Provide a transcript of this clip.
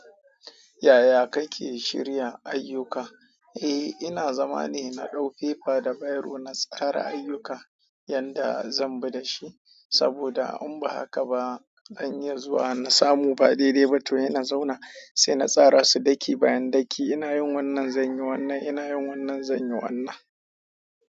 Yaya kake shirya ayyuka? Eh ina zamane in nadau fefa da biro na tsara ayyukan yanda zan bi da shi. Saboda in ba haka ba, zan iya zuwa na samu ba daidaiba to hena zauna, sai na tsara su daki-bayandaki. Ina yin wannan, zan yi wannan. Inayin wannan zanyi wannan.